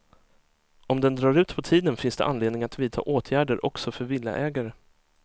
Om den drar ut på tiden finns det anledning att vidta åtgärder också för villaägare.